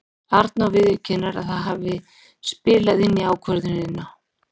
Arnór viðurkennir að það hafi spilað inn í ákvörðunina.